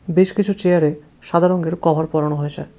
বেশ কিছু চেয়ারে সাদা রঙের কভার পরানো হয়েছে।